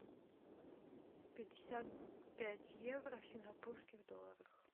пятьдесят пять евро в сингапурских долларах